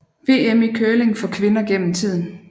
VM i curling for kvinder gennem tiden